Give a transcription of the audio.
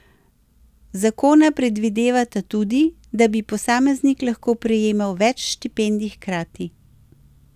Zakona predvidevata tudi, da bi posameznik lahko prejemal več štipendij hkrati.